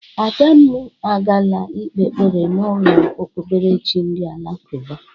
Adamụ agala ikpe ekpere n'ụlọ okpukperechi ndị alakụba.